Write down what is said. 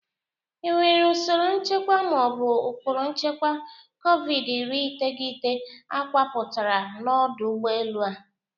Enwere usoro nchekwa ma ọ bụ ụkpụrụ nchekwa kovidi-iri iteghete akọwapụtara na ọdụ ụgbọ elu a?